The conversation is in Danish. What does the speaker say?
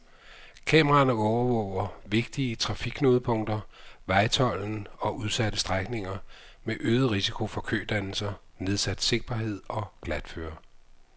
Kameraerne overvåger vigtige trafikknudepunkter, vejtolden og udsatte strækninger med øget risiko for kødannelser, nedsat sigtbarhed og glatføre.